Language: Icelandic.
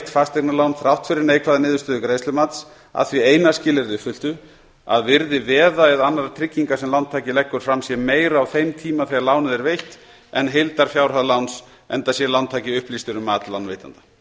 fasteignalán þrátt fyrir neikvæða niðurstöðu greiðslumats að því eina skilyrði uppfylltu að virði veða eða annarra trygginga sem lántaki leggur fram sé meira á þeim tíma þegar lánið er veitt en heildarfjárhæð láns enda sé lántaki upplýstur um mat lánveitanda